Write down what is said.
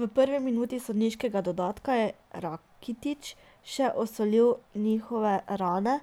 V prvi minuti sodniškega dodatka je Rakitić še osolil njihove rane,